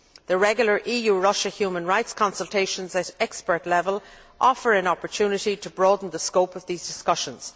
The regular EU Russia human rights consultations at expert level offer an opportunity to broaden the scope of these discussions.